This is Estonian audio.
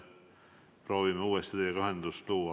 Proovime uuesti teiega ühendust luua.